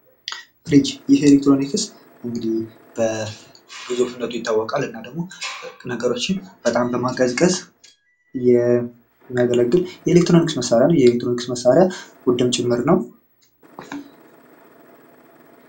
ፍሪጅ፦ ይህ ኤሌክትሮኒክስ በግዙፍነቱ ይታወቃል። እና ደግሞ ነገሮችን በጣም በማቀዝቀዝ የሚያገለግል የኤሌክትሮኒክስ መሳሪያ ነው። ይህ የኤሌክትሮኒክስ መሳሪያ ውድም ጭምር ነው።